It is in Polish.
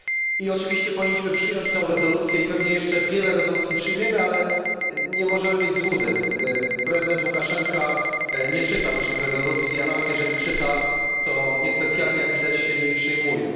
I oczywiście powinniśmy przyjąć tę rezolucję i pewnie jeszcze wiele rezolucji przyjmiemy, ale nie możemy mieć złudzeń prezydent Łukaszenka nie czyta naszych rezolucji, a nawet jeżeli czyta, to niespecjalnie, jak widać, się nimi przejmuje.